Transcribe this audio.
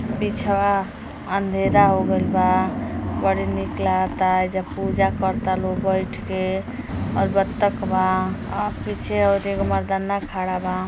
पिछवा अंधेरा हो गईल बा। बड़ी निक लगाता। एहिजा पूजा कर ता लोग बैठ के और बतख बा। आ पीछे औरी एगो मर्दाना खड़ा बा।